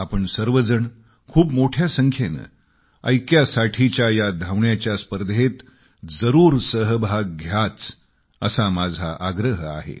आपण सर्व जण खूप मोठ्या संख्येने ऐक्यासाठीच्या या धावण्याच्या स्पर्धेत जरूर सहभाग घ्याच असा माझा आग्रह आहे